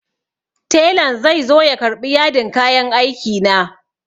Telan zai zo ya karɓi yadin kayan aiki na.